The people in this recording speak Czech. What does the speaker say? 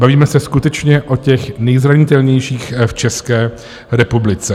Bavíme se skutečně o těch nejzranitelnějších v České republice.